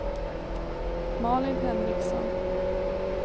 Malin Henriksson